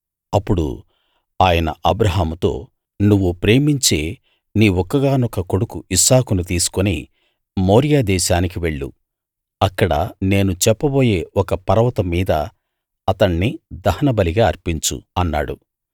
అప్పుడు ఆయన అబ్రాహాముతో నువ్వు ప్రేమించే నీ ఒక్కగానొక్క కొడుకు ఇస్సాకును తీసుకుని మోరియా దేశానికి వెళ్ళు అక్కడ నేను చెప్పబోయే ఒక పర్వతం మీద అతణ్ణి దహనబలిగా అర్పించు అన్నాడు